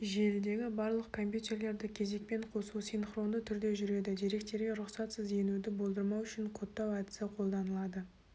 желідегі барлық компьютерлерді кезекпен қосу синхронды түрде жүреді деректерге рұқсатсыз енуді болдырмау үшін кодтау әдісі қолданылады